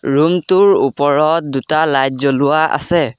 Room টোৰ ওপৰত দুটা লাইট জ্বলোৱা আছে।